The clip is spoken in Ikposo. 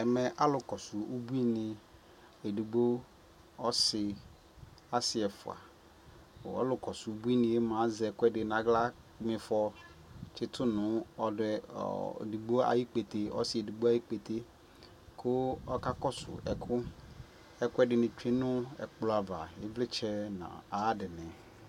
ɛmɛ alʋ kɔsʋ ʋbʋi ni ɛdigbɔ ɔsii, asii ɛƒʋa ɔlʋ kɔsʋ ʋbʋi ni mʋa azɛ ɛkʋɛdi nʋ ala mifɔ tsitʋ nʋ ɛdigbɔ ayi ikpɛtɛ kʋ ɔkakɔsʋ ɛkʋ, ɛkuɛdini twɛ nʋ ɛkplɔ aɣa, ivlitsɛ dini nʋ ayi adini